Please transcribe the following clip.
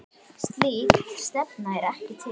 Slík stefna er ekki til.